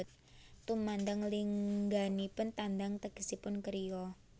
Tumandang lingganipun tandang tegesipun kriya